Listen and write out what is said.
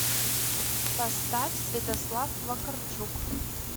поставь святослав вакарчук